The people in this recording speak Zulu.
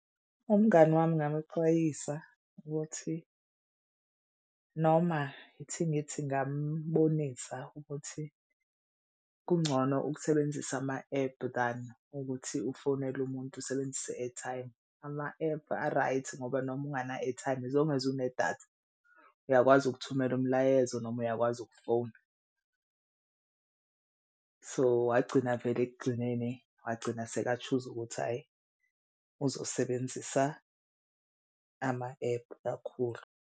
Umngani wami ngamxwayisa ukuthi noma ithi ngithi ngambonisa ukuthi kungcono ukusebenzisa ama ephu than ukuthi ufonele umuntu usebenzise i-airtime. Ama-ephu a-right ngoba noma ungana-airtime as long as unedatha uyakwazi ukuthumela umlayezo noma uyakwazi ukufona. So wagcina vele ekugcineni wagcina seka-choose-a ukuthi hhayi uzosebenzisa ama-ephu kakhulu.